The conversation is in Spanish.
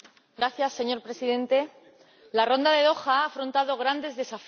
Señor Presidente, la Ronda de Doha ha afrontado grandes desafíos.